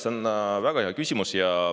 Jaa, see on väga hea küsimus.